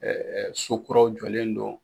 sokuraw jɔlen no.